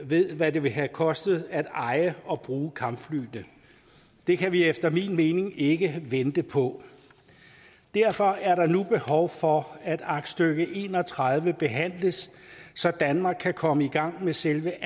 ved hvad det vil have kostet at eje og bruge kampflyene det kan vi efter min mening ikke vente på derfor er der nu behov for at aktstykke en og tredive behandles så danmark kan komme i gang med selve